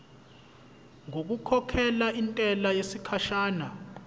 ngokukhokhela intela yesikhashana